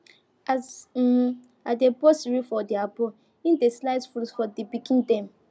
as um i dey pour cereal for their bowl e dey slice fruit for the pikin dem